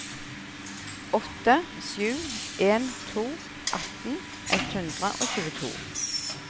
åtte sju en to atten ett hundre og tjueto